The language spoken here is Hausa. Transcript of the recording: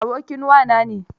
Abokin wa na ne.